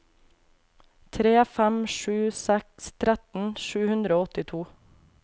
tre fem sju seks tretten sju hundre og åttito